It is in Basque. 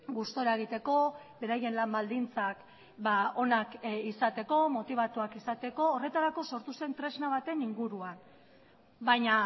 gustura egiteko beraien lan baldintzak onak izateko motibatuak izateko horretarako sortu zen tresna baten inguruan baina